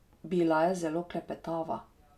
Bila je zelo klepetava.